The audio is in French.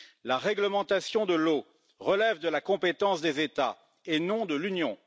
La réglementation de l'eau relève de la compétence des États et non de l'Union.